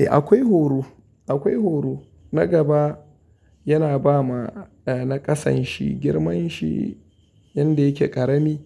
Eh akwai horo, akwai horo na gaba yana ba ma na ƙasan shi girman shi yanda yake ƙarami.